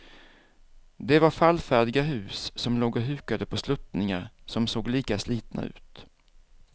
Det var fallfärdiga hus som låg och hukade på sluttningar som såg lika slitna ut.